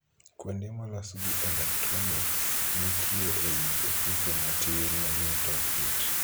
Kuonde molos gi 'elektroniks' nitie ei ofuko matin manie tok it.